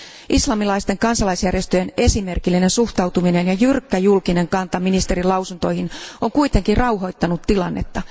Islamilaisten kansalaisjärjestöjen esimerkillinen suhtautuminen ja jyrkkä julkinen kanta ministerin lausuntoihin on kuitenkin rauhoittanut tilannetta.